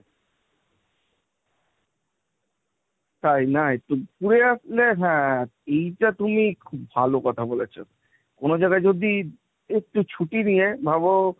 তাই না একটু ঘুরে আসলে হ্যাঁ এইটা তুমি খুব ভালো কথা বলেছো, কোনো জায়গায় যদি একটু ছুটি নিয়ে ভাবো,